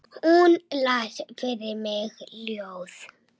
Hún las fyrir mig ljóð.